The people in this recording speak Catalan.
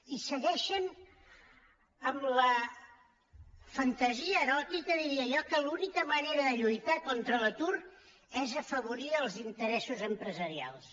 i segueixen amb la fantasia eròtica diria jo que l’única manera de lluitar contra l’atur és afavorir els interessos empresarials